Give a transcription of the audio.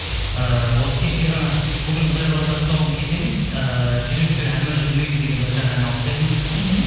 ыыы осы кеше ғана бүгін құдай қаласа тұсауын кесеміз ыыы жүрекке әмір жүрмейді деген бір жаңа ән алып келдім мхм